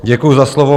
Děkuji za slovo.